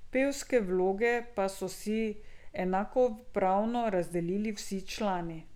Pevske vloge pa so si enakopravno razdelili vsi člani.